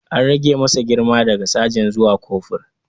An rage masa girma daga sajan zuwa kofur.